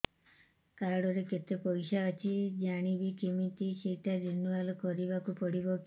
card ରେ କେତେ ପଇସା ଅଛି ଜାଣିବି କିମିତି ସେଟା ରିନୁଆଲ କରିବାକୁ ପଡ଼ିବ କି